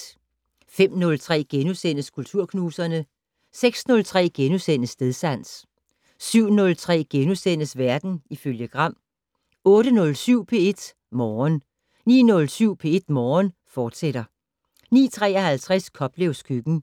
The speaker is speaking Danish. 05:03: Kulturknuserne * 06:03: Stedsans * 07:03: Verden ifølge Gram * 08:07: P1 Morgen 09:07: P1 Morgen, fortsat 09:53: Koplevs køkken